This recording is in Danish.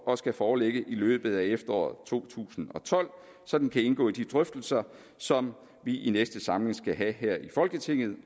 og skal foreligge i løbet af efteråret to tusind og tolv så den kan indgå i de drøftelser som vi i næste samling skal have her i folketinget